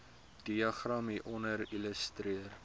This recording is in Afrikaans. diagram hieronder illustreer